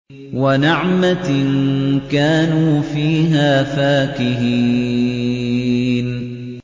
وَنَعْمَةٍ كَانُوا فِيهَا فَاكِهِينَ